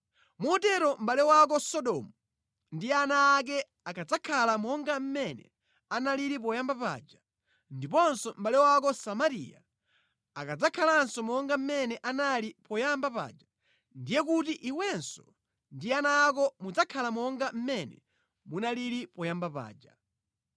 Motero mʼbale wako Sodomu ndi ana ake akadzakhala monga mmene analili poyamba paja, ndiponso mʼbale wako Samariya akadzakhalanso monga mmene anali poyamba paja, ndiye kuti iwenso ndi ana ako mudzakhala monga mmene munalili payamba paja.